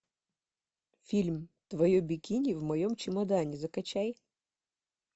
фильм твое бикини в моем чемодане закачай